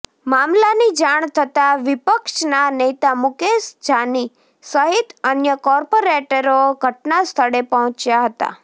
મામલાની જાણ થતાં વિપક્ષના નેતા મુકેશ જાની સહિત અન્ય કોર્પોરેટરો ઘટનાસ્થળે પહોંચ્યા હતા